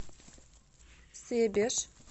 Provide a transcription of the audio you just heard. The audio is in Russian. себеж